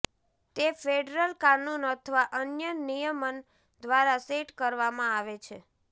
તે ફેડરલ કાનુન અથવા અન્ય નિયમન દ્વારા સેટ કરવામાં આવે છે